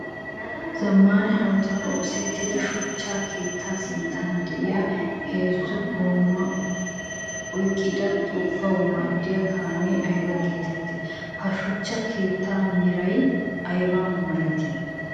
Zamaana hanotan oosetida shuchcha keetta sinttan de'iyaa heezzu goomaa oyqqidda togawu maadiya kaame ayba geetetti? Ha shuchcha keettaa meraykka aybaa malati?